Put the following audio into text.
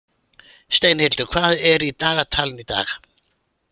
Steinhildur, hvað er í dagatalinu í dag?